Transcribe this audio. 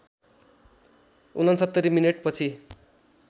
६९ minute पछि